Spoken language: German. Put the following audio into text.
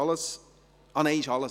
– Nein, das ist alles.